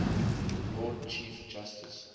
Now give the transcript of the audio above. lord chief justice